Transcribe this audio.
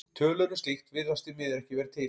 Tölur um slíkt virðast því miður ekki vera til.